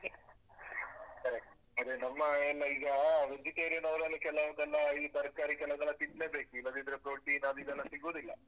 Correct ಅದೆ ನಮ್ಮ ಎಲ್ಲಾ ಈಗ vegetarian ಅವರೆಲ್ಲ ಕೆಲವ್ದೆಲ್ಲಾ ಈ ತರ್ಕಾರಿ ಕೆಲವ್ದೆಲ್ಲ ತಿನ್ಲೇಬೇಕು ಇಲ್ಲದಿದ್ರೆ protein ಅದ್‌ ಇದೆಲ್ಲ ಸಿಗೋದಿಲ್ಲ.